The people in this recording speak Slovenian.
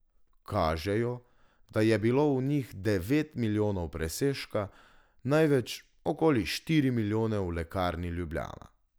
Kažejo, da je bilo v njih devet milijonov presežka, največ, okoli štiri milijone, v Lekarni Ljubljana.